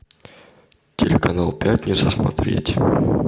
телеканал пятница смотреть